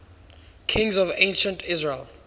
kings of ancient israel